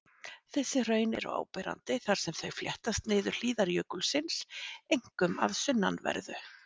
Þessi hraun eru áberandi þar sem þau fléttast niður hlíðar jökulsins, einkum að sunnanverðu.